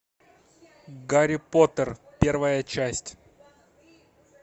гарри поттер первая часть